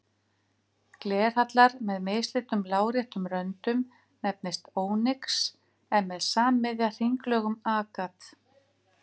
Glerhallar með mislitum láréttum röndum nefnist ónyx en með sammiðja hringlögum agat.